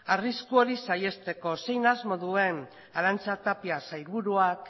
arrisku hori saihesteko zein asmo duen arantza tapia sailburuak